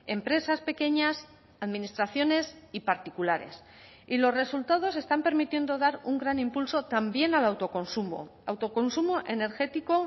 empresas pequeñas administraciones y particulares y los resultados están permitiendo dar un gran impulso también al autoconsumo autoconsumo energético